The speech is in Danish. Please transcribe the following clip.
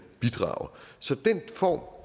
bidrage så den form